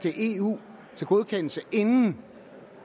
i eu inden